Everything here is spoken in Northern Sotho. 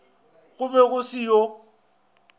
go be go se yo